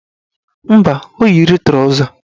Mba, o yiri trọza